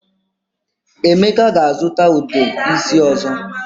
Emeka ga-azuta Ude isi ozo.